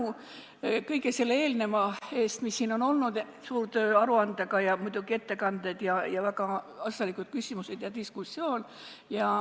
Suur tänu kõige selle eelneva eest, mis siin on olnud: suur töö on tehtud aruandega ja muidugi olid ettekanded, väga asjalikud küsimused ja diskussioon.